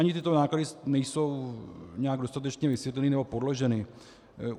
Ani tyto náklady nejsou nějak dostatečně vysvětleny nebo podloženy.